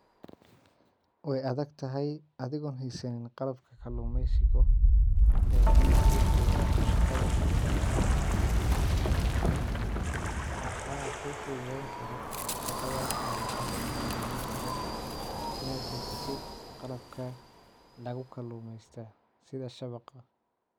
Wey adagtahay adigo hesan qalabka kalumesiga ineey ku fududato shaqada kalumeysiga. Waxa ku fududeyn karo shaqada kalumeysiga inad hesatid qalabka lagu kalumesto sida shabaqa.